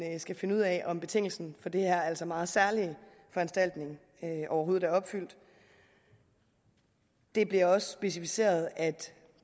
skal finde ud af om betingelsen for den her altså meget særlige foranstaltning overhovedet er opfyldt det bliver også specificeret at